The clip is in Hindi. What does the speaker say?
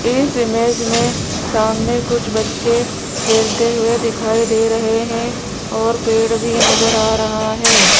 इस इमेज में सामने कुछ बच्चे खेलते हुए दिखाई दे रहे हैं और पेड़ भी नजर आ रहा है।